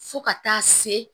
Fo ka taa se